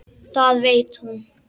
Það veit hún.